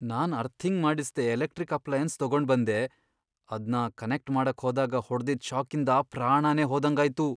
ನಾನ್ earthing ಮಾಡಿಸ್ದೇ electric appliances ತಗೊಂಡ್ಬಂದೆ, ಅದ್ನ ಕನೆಕ್ಟ್ ಮಾಡಕ್ ಹೋದಾಗ್ ಹೊಡ್ದಿದ್ ಷಾಕಿಂದ ಪ್ರಾಣನೇ ಹೋದಂಗಾಯ್ತು.